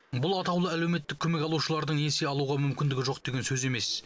бұл атаулы әлеуметтік көмек алушылардың несие алуға мүмкіндігі жоқ деген сөз емес